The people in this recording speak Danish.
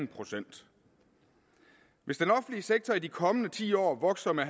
procent hvis den offentlige sektor i de kommende ti år vokser med